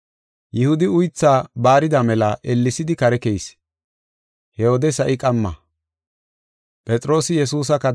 Yihudi uythaa baarida mela ellesidi kare keyis. He wode sa7i qamma.